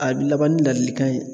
A bɛ laban ni ladilikan ye.